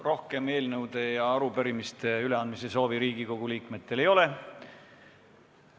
Rohkem eelnõude ja arupärimiste üleandmise soovi Riigikogu liikmetel ei ole.